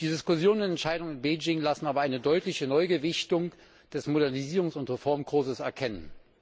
Die Diskussionen und Entscheidungen in Bejing lassen aber eine deutliche Neugewichtung des Modernisierungs und Reformkurses erkennen.